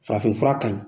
Farafinfura ka ɲi